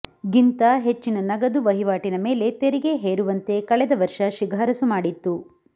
ಗಿಂತ ಹೆಚ್ಚಿನ ನಗದು ವಹಿವಾಟಿನ ಮೇಲೆ ತೆರಿಗೆ ಹೇರುವಂತೆ ಕಳೆದ ವರ್ಷ ಶಿಫಾರಸು ಮಾಡಿತ್ತು